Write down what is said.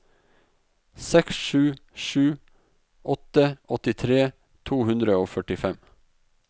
seks sju sju åtte åttitre to hundre og førtifem